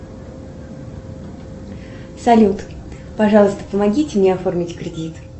салют пожалуйста помогите мне оформить кредит